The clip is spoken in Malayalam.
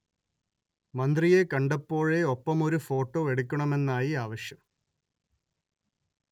മന്ത്രിയെ കണ്ടപ്പോഴോ ഒപ്പമൊരു ഫോട്ടോ എടുക്കണമെന്നായി ആവശ്യം